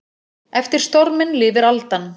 Eftir storminn lifir aldan.